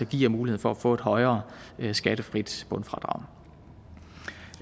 giver mulighed for at få et højere skattefrit bundfradrag